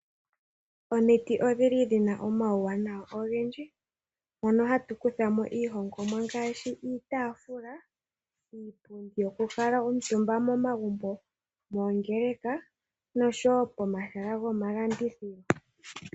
Omiti odhina omawuwanawa ogendji, mono hatu kutha mo iihongomwa ngaashi, iitaafula, iipundi yoku kuutumba momagumbo, moongeleka noshowo pomahala gomalandithilo.